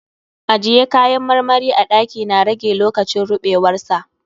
Ajiye kayan marmari a ɗaki na rage lokacin ruɓewar sa.